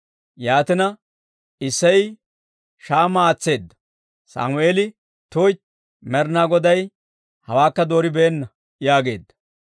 Yaatina, Isseyi Shaama aatseedda; Sammeeli, «tuytti; Med'inaa Goday hawaakka dooribeenna» yaageedda.